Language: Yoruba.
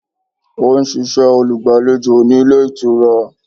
Ó n ṣiṣẹ́ olùgbàlejò ní Ilé Ìtura